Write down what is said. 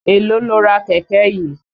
Èló lo ra kẹ̀kẹ́ yìí?